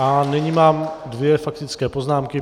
A nyní mám dvě faktické poznámky.